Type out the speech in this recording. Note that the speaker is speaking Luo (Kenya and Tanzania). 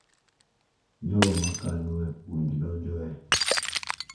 Jogo makalo e puonj donjo e,